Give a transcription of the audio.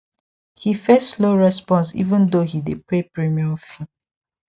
he face slow response even though he dey pay premium fee